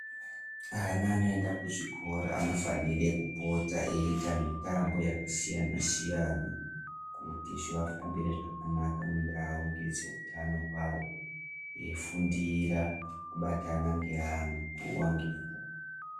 Ana anoyenda kuzvikora anofanire kupota eyita mitambo yakasiyana siyana, kuti zvivafambire zvakanaka, mundau ngezvewutano wawo, eyifundira kubatana nge amwe nguwa ngenguwa.